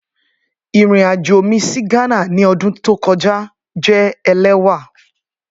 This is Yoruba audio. Irin ajo mi si Ghana ni ọdun to kọja jẹ ẹlẹwà.